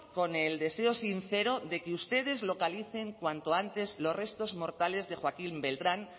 con el deseo sincero de que ustedes localicen cuanto antes los restos mortales de joaquín beltrán